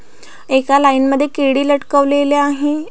एका लाइन मध्ये केडी लटकवलेले आहे.